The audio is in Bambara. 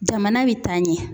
Jamana be taa ɲɛ